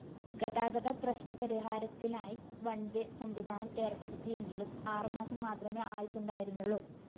ഗതാഗതപ്രശ്‌നപരിഹാരത്തിനായി one way സംവിധാനം ഏര്‍പ്പെടുത്തിയെങ്കിലും ആറുമാസം മാത്രമേ ആയുസുണ്ടായിരുന്നുള്ളൂ